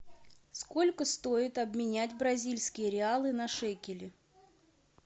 сколько стоит обменять бразильские реалы на шекели